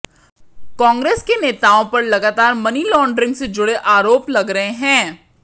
कांग्रेस के नेताओं पर लगातार मनी लांड्रिंग से जुड़े आरोप लग रहे हैं